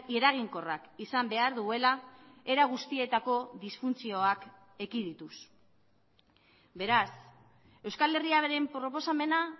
eraginkorrak izan behar duela era guztietako disfuntzioak ekidituz beraz euskal herria beren proposamena